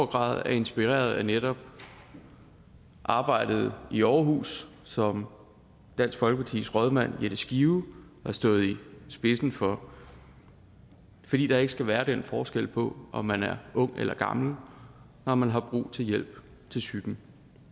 grad er inspireret af netop arbejdet i aarhus som dansk folkepartis rådmand jette skive har stået i spidsen for fordi der ikke skal være den forskel på om man er ung eller gammel når man har brug hjælp til psyken